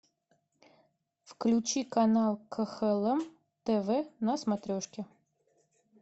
включи канал кхлм тв на смотрешке